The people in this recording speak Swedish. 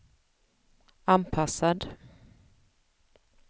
anpassad